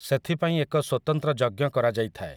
ସେଥିପାଇଁ ଏକ ସ୍ୱତନ୍ତ୍ର ଯଜ୍ଞ କରାଯାଇଥାଏ ।